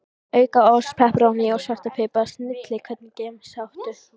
Auka ost, pepperóní og svartan pipar, snilli Hvernig gemsa áttu?